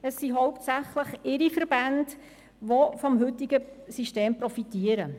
Es sind hauptsächlich Ihre Verbände, welche vom heutigen System profitieren.